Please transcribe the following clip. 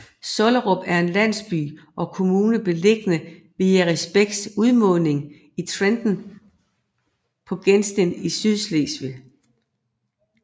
Sollerup er en landsby og kommune beliggende ved Jerrisbæks udmunding i Trenen på gesten i Sydslesvig